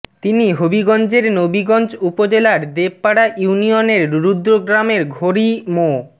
তিনি হবিগঞ্জের নবীগঞ্জ উপজেলার দেবপাড়া ইউনিয়নের রুদ্র গ্রামের ঘোরী মো